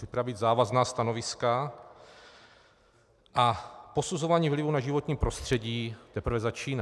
Připravit závazná stanoviska a posuzování vlivu na životní prostředí teprve začíná.